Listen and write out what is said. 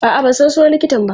A'a, ban san sunan likitan ba.